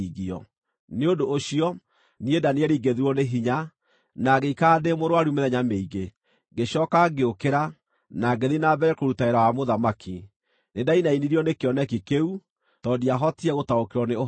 Nĩ ũndũ ũcio, niĩ Danieli ngĩthirwo nĩ hinya, na ngĩikara ndĩ mũrũaru mĩthenya mĩingĩ. Ngĩcooka ngĩũkĩra, na ngĩthiĩ na mbere kũruta wĩra wa mũthamaki. Nĩndainainirio nĩ kĩoneki kĩu, tondũ ndiahotire gũtaũkĩrwo nĩ ũhoro wakĩo.